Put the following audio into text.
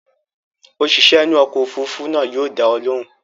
Òṣìṣẹ́ inú ọkọ̀ òfurufú náà yóò dá ọ lóhùn.